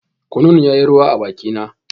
Kunun yayi ruwa ruwa a bakina.